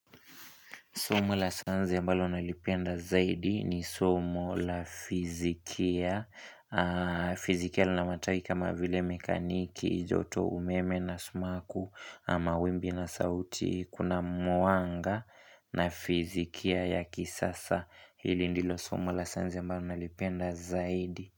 Somo la sayansi ambalo nalipenda zaidi ni somo la fizikia. Fizikia lina mataki kama vile mekaniki, joto umeme na sumaku na mawimbi na sauti. Kuna mwanga na fizikia ya kisasa hili ndilo somo la sayansi ambalo nalipenda zaidi.